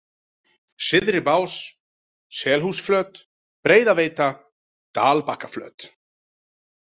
Syðribás, Selhúsflöt, Breiðaveita, Dalbakkaflöt